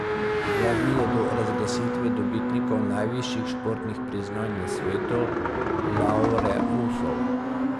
Dva dni je do razglasitve dobitnikov najvišjih športnih priznanj na svetu, laureusov.